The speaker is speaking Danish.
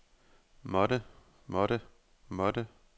måtte måtte måtte